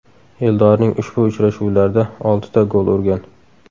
Eldorning ushbu uchrashuvlarda oltita gol urgan.